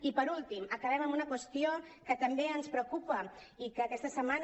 i per últim acabem amb una qüestió que també ens preocupa i que aquesta setmana